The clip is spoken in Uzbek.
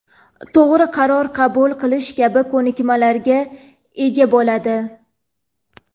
to‘g‘ri qaror qabul qilish kabi ko‘nikmalarga ega bo‘ladi.